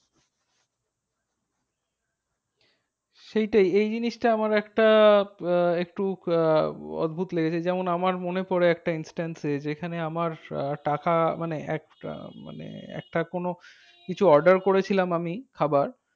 সেইটাই এই জিনিসটা আমারও একটা আহ একটু আহ অদ্ভুত লেগেছে। যেমন আমার মনে পরে একটা instance যেখানে আমার টাকা মানে একটা মানে একটা কোনো কিছু order করেছিলাম আমি খাবার।